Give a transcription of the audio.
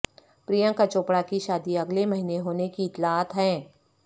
پرینکا چوپڑہ کی شادی اگلے مہینے ہونے کی اطلاعات ہیں